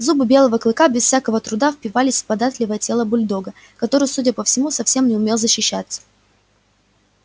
зубы белого клыка без всякого труда впивались в податливое тело бульдога который судя по всему совсем не умел защищаться